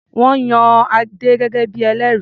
Wọ́n yan Adé gẹ́gẹ́ bí i ẹlẹ́rìí.